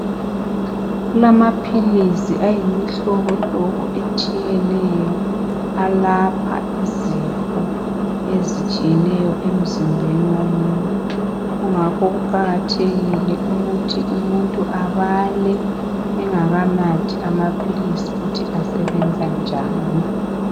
kulamaphilisi ayimihlobohlobo etshiyeneyo alapha izifo ezitshiyeneyo emzimbeni womuntu kungakho kuqakathekile ukuthi umutnu abale engakanathi amaphilisi ukuthi asebnza njani